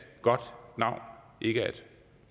godt navn ikke er et